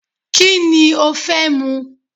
Kíni o fẹ́ mu